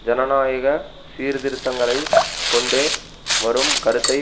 ஜனநாயக சீர்திருத்தங்களைக் கொண்டு வரும் கருத்தை